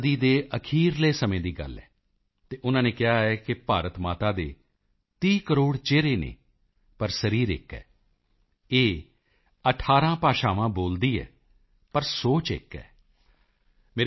ਅਤੇ ਉਸ ਸਮੇਂ ਇਹ 19ਵੀਂ ਸਦੀ ਦੇ ਅਖੀਰਲੇ ਸਮੇਂ ਦੀ ਗੱਲ ਹੈ ਅਤੇ ਉਨ੍ਹਾਂ ਨੇ ਕਿਹਾ ਹੈ ਕਿ ਭਾਰਤ ਮਾਤਾ ਦੇ 30 ਕਰੋੜ ਚਿਹਰੇ ਹਨ ਪਰ ਸਰੀਰ ਇਕ ਹੈ ਇਹ 18 ਭਾਸ਼ਾਵਾਂ ਬੋਲਦੀ ਹੈ ਪਰ ਸੋਚ ਇਕ ਹੈ